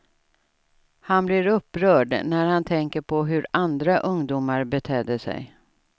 Han blir upprörd när han tänker på hur andra ungdomar betedde sig.